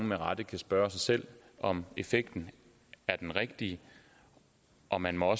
med rette spørge sig selv om effekten er den rigtige og man må